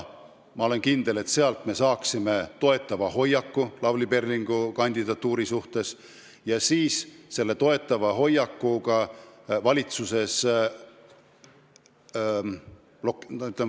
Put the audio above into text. Ma olen kindel, et sealt me saaksime Lavly Perlingu kandidatuuri suhtes toetava hinnangu.